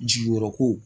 Jigiyɔrɔ ko